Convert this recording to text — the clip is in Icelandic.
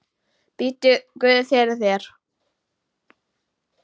Biddu guð fyrir þér.